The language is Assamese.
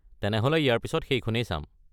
তেনেহ’লে ইয়াৰ পিছত সেইখনেই চাম।